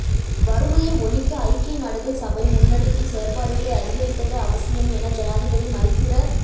வறுமைய ஒழிக்க ஐக்கிய நாடுகள் சபை முன்னெடுக்கும் செயற்பாடுகளை அதிகரிப்பது அவசியம் என ஜனாதிபதி மைத்திர